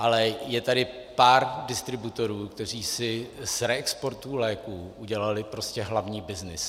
Ale je tady pár distributorů, kteří si z reexportu léků udělali prostě hlavní byznys.